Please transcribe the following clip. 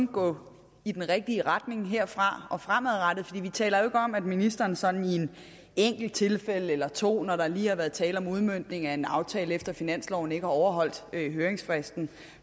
gå i den rigtige retning herfra og fremadrettet for vi taler jo om at ministeren sådan i et enkelt tilfælde eller to når der lige har været tale om udmøntning af en aftale efter finansloven ikke har overholdt høringsfristen